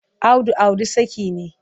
Audu auri saki ne.